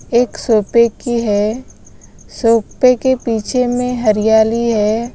एक सोपे की है सोपे के पीछे में हरियाली है।